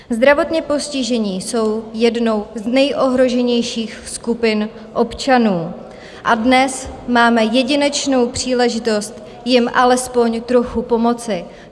Zdravotně postižení jsou jednou z nejohroženějších skupin občanů a dnes máme jedinečnou příležitost jim alespoň trochu pomoci.